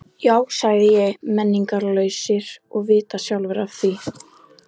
Já sagði ég, menningarlausir og vita sjálfir af því.